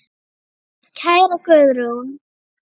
Kæra Guðrún.